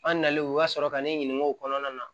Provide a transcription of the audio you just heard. An nalen o ka sɔrɔ ka ne ɲininka o kɔnɔna na